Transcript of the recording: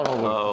Var olun.